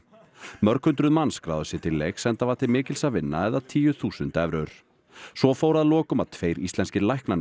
mörg hundruð manns skráðu sig til leiks enda var til mikils að vinna eða tíu þúsund evrur svo fór að lokum að tveir íslenskir læknanemar